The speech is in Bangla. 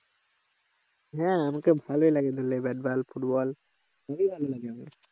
হ্যাঁ আমাকে ভালই লাগে ধরলে ব্যাটবল ফুটবল ভালো লাগে আমাকে